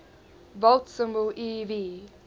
volt symbol ev